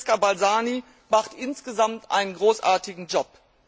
Francesca Balzani macht insgesamt einen großartigen Job.